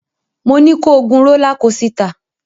Mo ní ko gun rólá kosità!